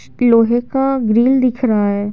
लोहे का ग्रिल दिख रहा है।